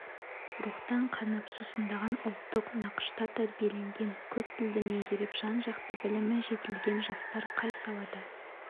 рухтан қанып сусындаған ұлттық нақышта тәрбиеленген көп тілді меңгеріп жан-жақты білімі жетілген жастар қай салада